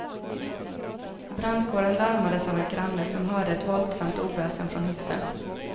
Brandkåren larmades av en granne som hörde ett våldsamt oväsen från hissen.